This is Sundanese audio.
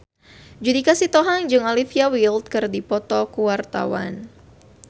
Judika Sitohang jeung Olivia Wilde keur dipoto ku wartawan